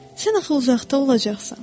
Sən axı uzaqda olacaqsan?